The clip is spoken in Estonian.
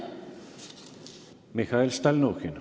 Mihhail Stalnuhhin.